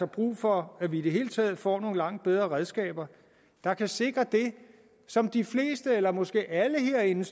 brug for at vi i det hele taget får nogle langt bedre redskaber der kan sikre det som de fleste eller måske alle herinde